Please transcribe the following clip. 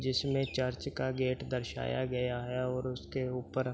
जिसमे चर्च का गेट दर्शाया गया है और उसके ऊपर --